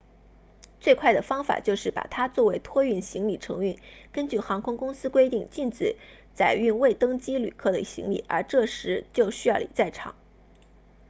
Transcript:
最快的方法就是把它作为托运行李承运根据航空公司规定禁止载运未登机旅客的行李而这时就需要你在场